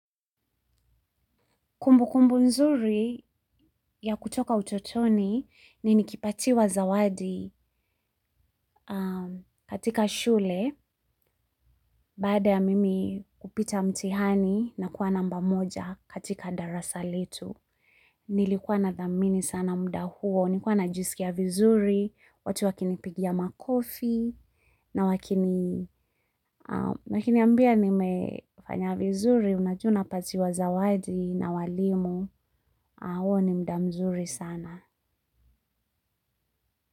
Kumbu kumbu nzuri ya kutoka utotoni ni nikipatiwa zawadi kutoka shule baada ya mimi kupita mtihani na kuwa namba moja katika darasa letu. Nilikuwa nathamini sana muda huo. Nilikuwa najisikia vizuri, watu wakinipigia makofi na wakiniambia nimefanya vizuri, unajua unapatiwa zawadi na walimu, huo ni muda mzuri sana.